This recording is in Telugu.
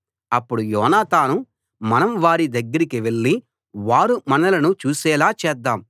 అప్పుడు యోనాతాను మనం వారి దగ్గరికి వెళ్ళి వారు మనలను చూసేలా చేద్దాం